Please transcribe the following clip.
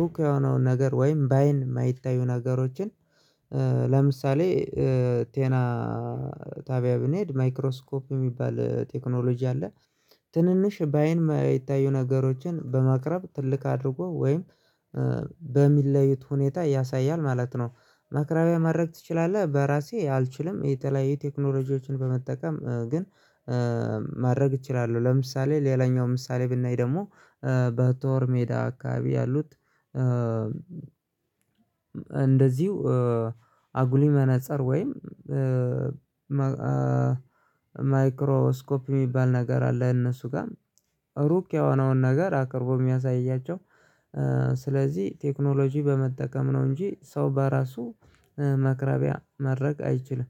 ሩቅ የሆነውን ነገር ወይም በአይን የማይታዩ ነገሮችን። ለምሳሌ ጤና ጣቢያ ብንሄድ ማይክሮስኮፕ የሚባል ቴክኖሎጂ አለ። ትንንሽ በአይን የማያይታዩ ነገሮችን በማቅረብ ትልቅ አድርጎ ወይም በሚለዩት ሁኔታ ያሳያል ማለት ነው። ማቅረቢያ ማድረግ ትችላለህ በራሴ አልችልም። የተለያዩ ቴክኖሎጂዎችን በመጠቀም ግን ማድረግ እችላለሁ ለምሳሌ ሌላኛው ምሳሌ ብናይ ደግሞ በጦር ሜዳ አካባቢ ያሉት። እንደዚሁ አጉሊ መነፀር ወይም ማይክሮ ስኮፕ የሚባል ነገር አለ። እነሱ ጋር ሩቅ የሆነውን ነገር አቅርቦ የሚያሳያቸው። ስለዚህ ቴክኖሎጂ በመጠቀም ነው እንጂ ሰው በራሱ ማቅረቢያ ማድረግ አይችልም።